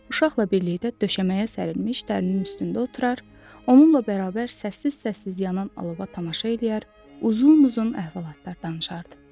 Uşaqla birlikdə döşəməyə sərilmiş dərinin üstündə oturur, onunla bərabər səssiz-səssiz yanan alova tamaşa eləyir, uzun-uzun əhvalatlar danışırdı.